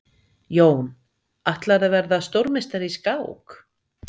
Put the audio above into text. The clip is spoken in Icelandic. Jón: Ætlarðu að verða stórmeistari í skák?